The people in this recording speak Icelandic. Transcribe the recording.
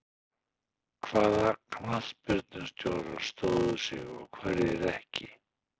Hvaða knattspyrnustjórar stóðu sig og hverjir ekki?